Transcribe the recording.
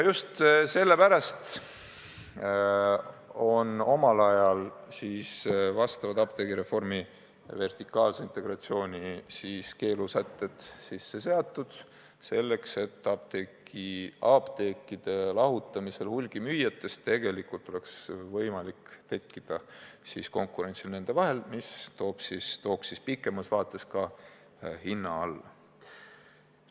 Just sellepärast ongi omal ajal apteegireformi seadusse vertikaalse integratsiooni keelamise sätted sisse kirjutatud: selleks, et apteekide lahutamisel hulgimüüjatest oleks võimalik tekitada nende vahel konkurentsi, mis tooks pikemas vaates ka hinna alla.